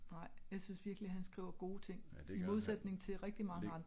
Nej jeg synes virkelig han skriver gode ting i modsætning til rigtig mange andre